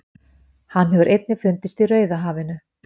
Hann hefur einnig fundist í Rauðahafinu.